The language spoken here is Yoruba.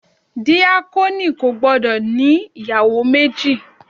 Díákónì kò gbọ́dọ̀ ní ìyàwó méjì.